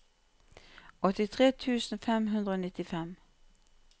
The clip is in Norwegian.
åttitre tusen fem hundre og nittifem